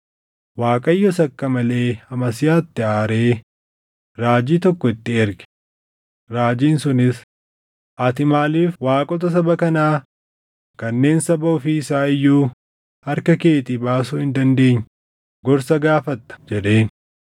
Waaqayyos akka malee Amasiyaatti aaree raajii tokko itti erge; raajiin sunis, “Ati maaliif waaqota saba kanaa kanneen saba ofii isaa iyyuu harka keetii baasuu hin dandeenye gorsa gaafatta?” jedheen.